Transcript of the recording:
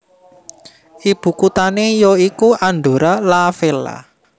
Ibukuthane ya iku Andorra la Vella